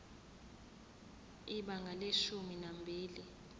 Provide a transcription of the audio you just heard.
ibanga leshumi nambili